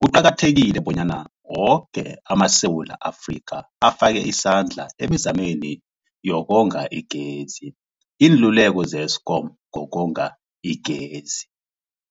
kuqakathekile bonyana woke amaSewula Afrika afake isandla emizameni yokonga igezi. Iinluleko ze-Eskom ngokonga igezi.